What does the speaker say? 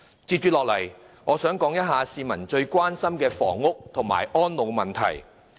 接着我想談談市民最關心的房屋及安老問題。